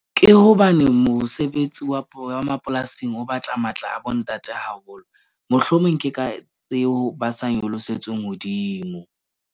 Ke hobane mosebetsi wa wa mapolasing o batla matla a bo ntate haholo, mohlomong ke ka tseo ba sa nyolosetsweng hodimo.